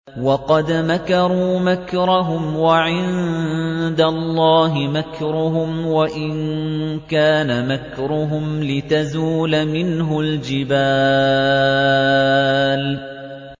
وَقَدْ مَكَرُوا مَكْرَهُمْ وَعِندَ اللَّهِ مَكْرُهُمْ وَإِن كَانَ مَكْرُهُمْ لِتَزُولَ مِنْهُ الْجِبَالُ